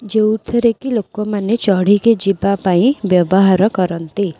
ଯୋଉଥିରେ କି ଲୋକମାନେ ଚଢ଼ିକି ଯିବା ପାଇଁ ବ୍ୟବହାର କରନ୍ତି।